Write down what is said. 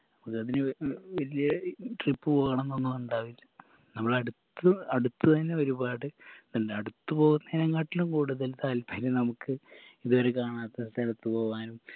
വലിയ trip പോണന്നൊന്നും ഉണ്ടാവില്ല നമ്മളെ അടുത്ത് അടുത്ത് തന്നെ ഒരുപാട് അല്ല അടുത്ത് പോവുന്നെയ്‌നാക്കാട്ടിലും കൂടുതൽ താല്പര്യം നമുക്ക് ഇത് വരെ കാണാത്ത സ്ഥലത്ത് പോവാനും